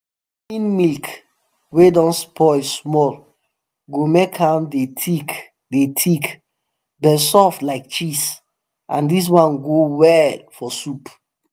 warming milk wey don spoil small go make am dey thick dey thick but soft like cheese and dis one go well for soup